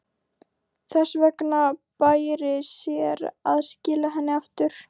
Þess vegna bæri sér að skila henni aftur.